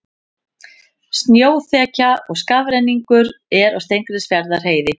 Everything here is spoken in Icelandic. Snjóþekja og skafrenningur er á Steingrímsfjarðarheiði